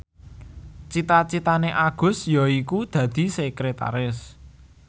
cita citane Agus yaiku dadi sekretaris